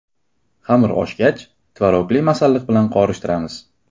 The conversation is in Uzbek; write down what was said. Xamir oshgach, tvorogli masalliq bilan qorishtiramiz.